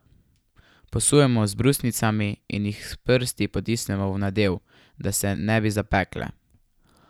Posujemo z brusnicami in jih s prsti potisnemo v nadev, da se ne bi zapekle.